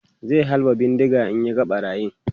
zai halba bindiga in ya ga ɓarayin